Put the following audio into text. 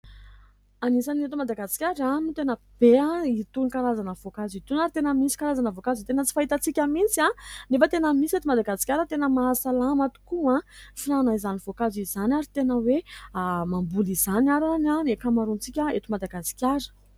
Anisan'ny eto Madagasikara no tena be itony karazana voankazo itony ary tena misy karazana voankazo tena tsy fahitantsika mintsy nefa tena misy eto Madagasikara. Tena maha salama tokoa ny fihinanan'izany voakazo izany ary tena hoe mamboly izany àry ny ankamaroantsika eto Madagasikara.